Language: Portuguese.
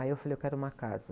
Aí eu falei, eu quero uma casa.